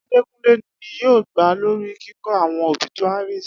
Adekunle ni yoo gba lori kikọ awọn obituaries